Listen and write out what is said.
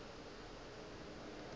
o be a dutše a